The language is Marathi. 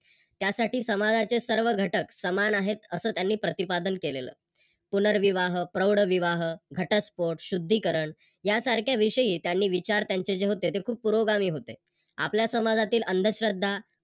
त्यासाठी समाजाचे सर्व घटक समान आहेत अस त्यांनी प्रतिपादन केलेल. पुनर्विवाह, प्रौढविवाह, घटस्फोट, शुद्धीकरण यासारख्या विषयी त्यांनी विचार त्यांचे जे होते ते खूप पुरोगामी होते. आपल्या समाजातील अंधश्रद्धा,